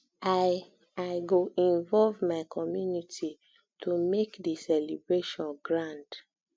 i i go involve my community to make di celebration grand